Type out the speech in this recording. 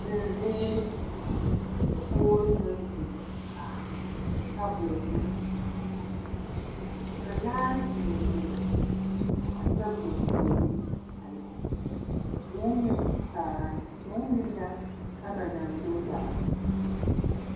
Zeŋziiri dakoɡro naŋ biŋ ka tabolɔ meŋ biŋ ka laare biŋbiŋ a tabolɔ puoriŋ a lɛ vūū meŋ kyaane vūū meŋ la ama na do yaɡele.